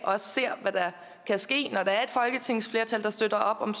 hvad der kan ske når der er et folketingsflertal der støtter op om